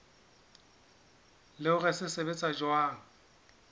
le hore se sebetsa jwang